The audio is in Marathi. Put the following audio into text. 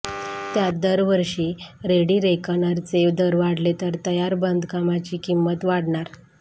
त्यात जर दरवर्षी रेडिरेकनरचे दर वाढले तर तयार बांधकामाची किंमत वाढणार